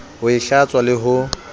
ho e hlatswa le ho